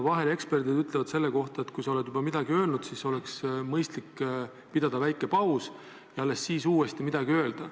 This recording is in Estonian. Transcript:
Vahel eksperdid ütlevad selle kohta, et kui sa oled juba midagi öelnud, siis oleks mõistlik pidada väike paus ja alles seejärel midagi uuesti öelda.